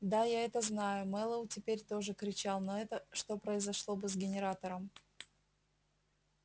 да я это знаю мэллоу теперь тоже кричал но это что произошло бы с генератором